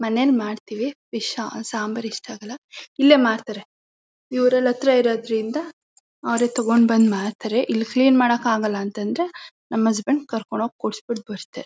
ಮನೇಲ್ ಮಾಡ್ತೀವಿ ಫಿಶ್ ಹಾ ಸಾಂಬಾರ್ ಇಷ್ಟ ಆಗಲ್ಲ ಇಲ್ಲೇ ಮಾಡ್ತಾರೆ ಇವರ್ ಇಲ್ ಹತ್ರ ಇರೋದ್ರಿಂದ ಅವರೇ ತೊಗೊಂಡ್ ಬಂದ್ ಮಾಡ್ತಾರೆ ಇಲ್ ಕ್ಲೀನ್ ಮಾಡಕ್ ಆಗಲ್ಲ ಅಂತಂದ್ರೆ ನಮ್ ಹಸ್ಬೆಂಡ್ ಕರ್ಕೊಂಡ್ ಹೋಗ್ ಕೊಡ್ಸ್ಬಿಟ್ ಬರ್ತಾ